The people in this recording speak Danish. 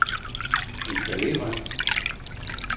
installere